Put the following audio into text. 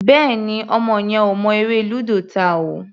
Bẹ́ẹ̀ni, ọmọ yẹn ò mọ eré lúdò ta o.